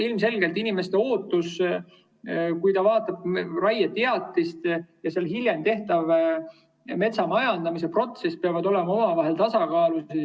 Ilmselgelt peavad inimese ootus, kes vaatab raieteatist, ja hiljem toimuv metsamajandamise protsess olema omavahel tasakaalus.